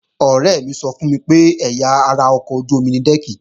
Ọ̀rẹ́ mi sọ fún mi pé ẹ̀yà ara ọkọ̀ ojú-omi ni dẹ́ẹ̀kì